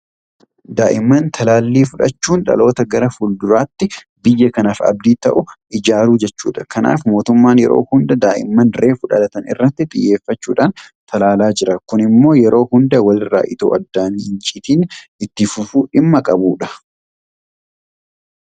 Daa'imman talaallii fudhachuun dhaloota gara fuulduraatti biyya kanaaf abdii ta'u ijaaruu jechuudha. Kanaaf mootummaan yeroo hunda daa'imman reefu dhalatan irratti xiyyeeffachuudhaan talaalaa jira. Kun immoo yeroo hunda walirraa itoo addaan hin citin itti fufuu dhimma qabudha.